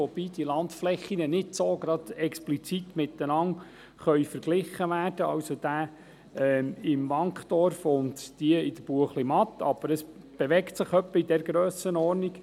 Allerdings lassen sich die Landflächen im Wankdorf und in der Buechlimatt nicht so explizit miteinander vergleichen, aber sie bewegen sich etwa in dieser Grössenordnung.